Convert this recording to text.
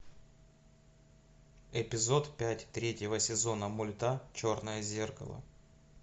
эпизод пять третьего сезона мульта черное зеркало